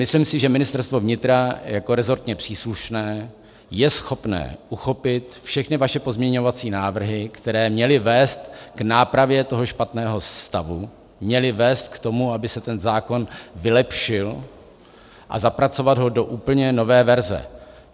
Myslím si, že Ministerstvo vnitra jako resortně příslušné je schopné uchopit všechny vaše pozměňovací návrhy, které měly vést k nápravě toho špatného stavu, měly vést k tomu, aby se ten zákon vylepšil, a zapracovat ho do úplně nové verze.